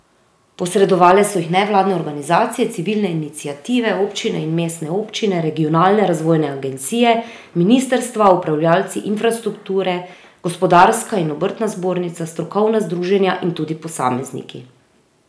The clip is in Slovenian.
Posredovale so jih nevladne organizacije, civilne iniciative, občine in mestne občine, regionalne razvojne agencije, ministrstva, upravljavci infrastrukture, gospodarska in obrtna zbornica, strokovna združenja in tudi posamezniki.